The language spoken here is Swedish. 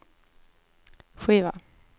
skiva